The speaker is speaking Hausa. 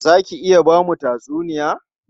Za ki iya ba mu tatsuniya?